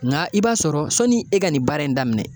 N ga i b'a sɔrɔ sɔni e ka nin baara in daminɛ